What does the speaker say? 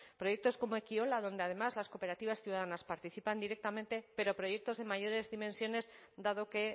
proyectos como ekiola donde además las cooperativas ciudadanas participan directamente pero proyectos de mayores dimensiones dado que